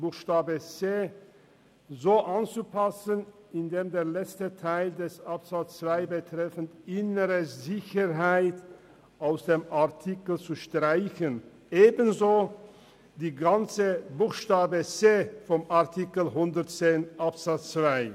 Buchstabe c ist anzupassen, der letzte Teil von Absatz 2 betreffend die innere Sicherheit ist aus dem Artikel zu streichen, ebenso der ganze Buchstaben c von Artikel 110 Absatz 2.